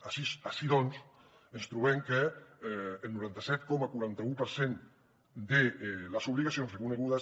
així doncs ens trobem que el noranta set coma quaranta un per cent de les obligacions reconegudes